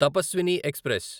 Tapaswini express